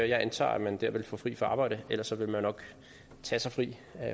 jeg antager at man der ville få fri fra arbejde ellers ville man nok tage sig fri